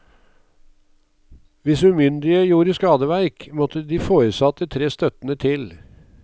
Hvis umyndige gjorde skadeverk, måtte de foresatte tre støttende til.